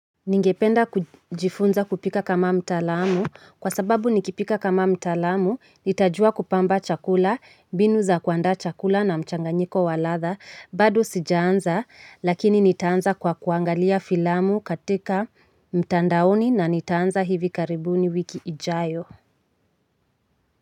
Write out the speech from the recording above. Ningependa kujifunza kupika kama mtaalamu kwa sababu nikipika kama mtaalamu nitajua kupamba chakula mbinu za kuandaa chakula na mchanganyiko wa ladha bado sijaanza lakini nitaanza kwa kuangalia filamu katika mtandaoni na nitaanza hivi karibuni wiki ijayo.